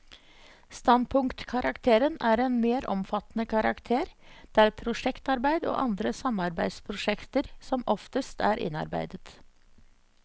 Standpunktkarakteren er en mer omfattende karakter, der prosjektarbeid og andre samarbeidsprosjekter som oftest er innarbeidet.